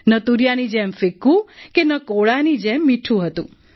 ન તૂરિયાની જેમ ફિક્કું કે ન કોળાની જેમ મીઠું હતું